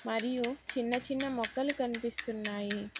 మరియు చిన్న చిన్న మొక్కలు కనిపిస్తున్నాయి.